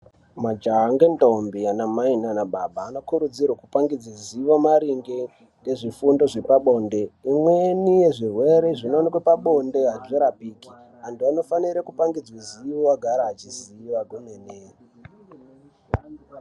Majaha ngendombi anamai nana baba anokurudzirwe kupangidze zivo maringe ngezvifundo zvepabonde. Imweni yezvirwere zvinooneke pabonde hazvirapiki. Antu anofanire kupangidzwe zivo agare achiziva kwemene.